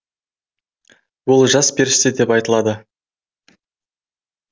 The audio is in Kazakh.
ол жас періште деп айтылады